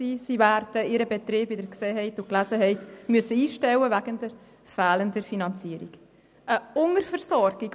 Sie werden, wie Sie lesen konnten, ihren Betrieb wegen fehlender Finanzierung einstellen müssen.